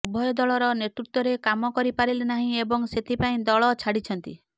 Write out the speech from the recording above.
ଉଭୟ ଦଳର ନେତୃତ୍ବରେ କାମ କରି ପାରିଲେ ନାହିଁ ଏବଂ ସେଥିପାଇଁ ଦଳ ଛାଡିଛନ୍ତି